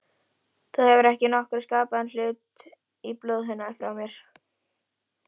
Þú hefur ekki nokkurn skapaðan hlut í blóðinu frá mér.